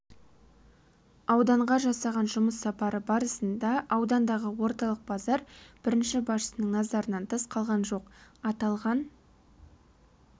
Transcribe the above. ауданға жасаған жұмыс сапары барысында аудандағы орталық базар бірінші басшының назарынан тыс қалған жоқ аталған